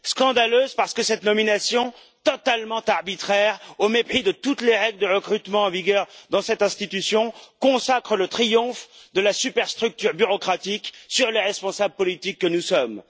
Scandaleuse parce que cette nomination totalement arbitraire, au mépris de toutes les règles de recrutement en vigueur dans cette institution, consacre le triomphe de la superstructure bureaucratique sur les responsables politiques que nous sommes.